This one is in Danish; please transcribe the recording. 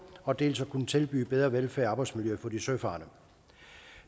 og dels at kunne tilbyde bedre velfærd og arbejdsmiljø for de søfarende